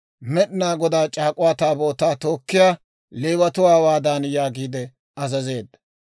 Med'inaa Godaa C'aak'uwaa Taabootaa tookkiyaa Leewatuwaa hawaadan yaagiide azazeedda;